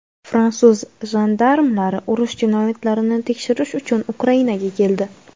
Fransuz jandarmlari urush jinoyatlarini tekshirish uchun Ukrainaga keldi;.